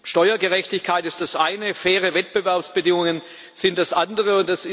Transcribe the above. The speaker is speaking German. Steuergerechtigkeit ist das eine, faire Wettbewerbsbedingungen sind das andere.